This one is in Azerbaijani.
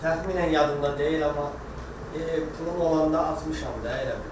Təxminən yadımda deyil, amma pulum olanda atmışam da, elə bil.